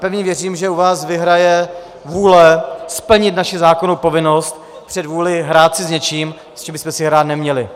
Pevně věřím, že u vás vyhraje vůle splnit naši zákonnou povinnost před vůlí hrát si s něčím, s čím bychom si hrát neměli.